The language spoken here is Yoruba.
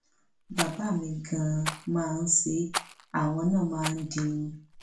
bàbá mi gan máa ń ṣe é àwọn náà máa ń dirun